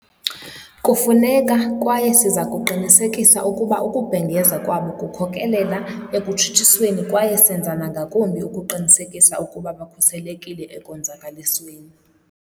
Kufuneka, kwaye siza kuqinisekisa ukuba ukubhengeza kwabo kukhokelela ekutshutshisweni kwaye senza nangakumbi ukuqinisekisa ukuba bakhuselekile ekonzakalisweni.